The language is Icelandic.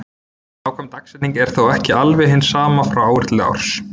Nákvæm dagsetning er þó ekki alveg hin sama frá ári til árs.